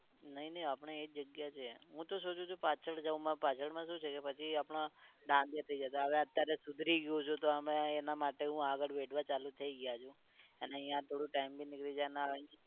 નઈ નઈ અપડે તો આપડી જગ્યા એ હું તો સોચું છે કે પાછડ જાવ, પણ પાછદ્મ શું છે કે પછી આપડા દેખાય જતાં હવે અત્યારે સુધરી ગયું છે તો હમણાં હવે અમે એના માટે આગડ બેઠવા ચાલુ થઈ ગયા છે. એને યા થોડુક time ભી નિકડી જાય ને આ